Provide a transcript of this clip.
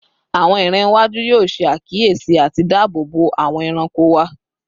Awọn iran iwaju yoo ṣe akiyesi ati daabobo awọn ẹranko wa